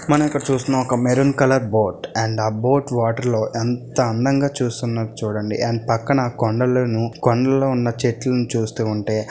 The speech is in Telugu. మనం ఇక్కడ చూస్తున్నాం మెరూన్ కలర్ ఒక బోట్ అండ్ ఆ బోట్ వాటర్ లో ఎంత అందంగా చూస్తున్నారు చూడండి. అండ్ ఆ పక్కన కొండలను కొండల్లో ఉన్న చెట్లను చూస్తూ ఉంటే --